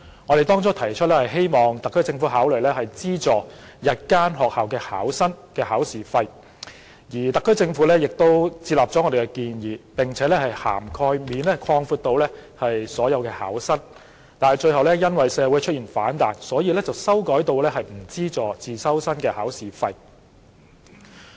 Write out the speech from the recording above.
我們原意是希望特區政府考慮資助日校考生的考試費，而特區政府亦接納了我們的建議，並把涵蓋範圍擴闊至所有考生，但最後因為社會出現反彈，而決定不為自修生代繳考試費。